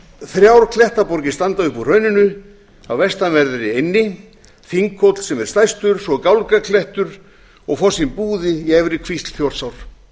þrjár klettaborgir standa upp úr hrauninu á vestanverðri eynni þinghóll sem er stærstur svo gálgaklettur og fossinn búði í efri kvísl þjórsár